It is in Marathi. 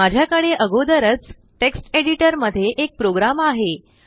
माझ्याकडे आगोदरच टेक्स्ट एडिटर मध्ये एक प्रोग्राम आहे